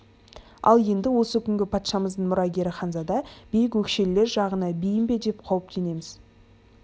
ал енді осы күнгі патшамыздың мұрагері ханзада биік өкшелілер жағына бейім бе деп қауіптенеміз